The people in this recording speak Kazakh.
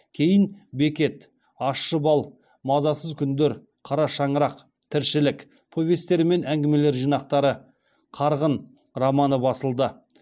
кейін бекет ащы бал мазасыз күндер қара шаңырақ тіршілік повестер мен әңгімелер жинақтары қарғын романы басылды